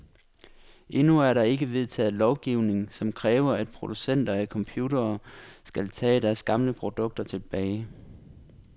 Endnu er der ikke vedtaget lovgivning, som kræver, at producenter af computere skal tage deres gamle produkter tilbage.